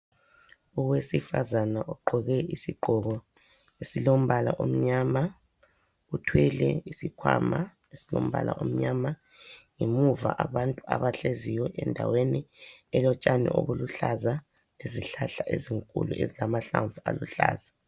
Owesifazana ogqoke isigqoko esilombala omnyama uthwele isikhwama esilombala omnyama. Ngemuva abantu abahleziyo endaweni elotshani obuluhlaza lesihlahla ezinkulu ezilamahlamvu aluhlaza.